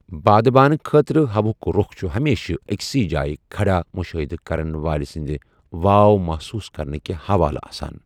بادبانہٕ خٲطرٕہواہٗك روخ چھٗ ہمیشہِ اكِسٕیہ جایہِ كھڈا مُشٲہِدٕ کَرن وٲلہِ سٕنٛدِ واو محصوُص كرنكہِ حوالہٕ آسان ۔